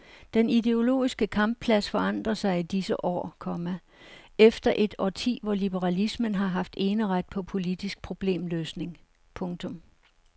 Den ideologiske kampplads forandrer sig i disse år, komma efter et årti hvor liberalismen har haft eneret på politisk problemløsning. punktum